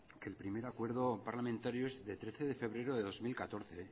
que el primer acuerdo parlamentario es del trece de febrero del dos mil catorce